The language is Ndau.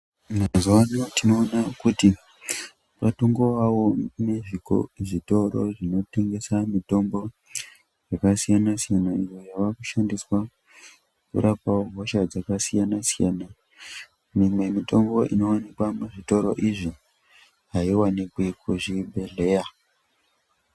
Mazuwano tinoona kuti kwatongowawo zvitoro zvinotengesa mitombo yakasiyana siyana imwe yawa kushandiswa kurapa hosha dzakasiyana, mimwe mitombo inowanikwa muzvitoro izvi aiwanikwe muzvibhedhleya.